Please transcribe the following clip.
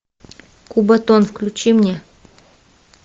кубатон включи мне